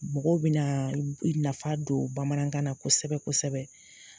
Mɔgɔw bɛnaa u nafa don bamanankan na kosɛbɛ-kosɛbɛ/